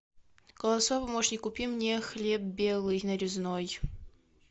голосовой помощник купи мне хлеб белый нарезной